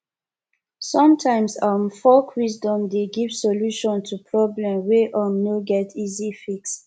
somtimes um folk wisdom dey give solution to problem wey um no get easy fix